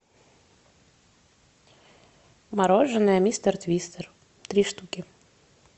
мороженое мистер твистер три штуки